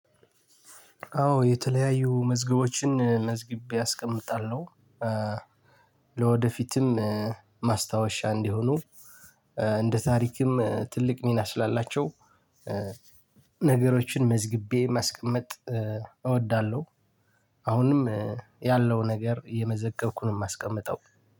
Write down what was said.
አዎ የተለያዩ መዝገቦችን መዝግቤ አስቀምጣለሁ። ለወደፊትም ማስታወሻ እንዲሆኑ እንደ ታሪክም ትልቅ ሚና ስላላቸው፤ ነገሮችን መዝግቤ ማስቀመጥ እወዳለሁ። አሁንም ያለው ነገር እየመዘገብኩ ነው የማስቀመጠው።